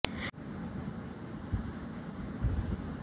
यह आहार काम करेंगे सही ढंग से ही अगर पानी उपयोग की दो बुनियादी सिद्धांतों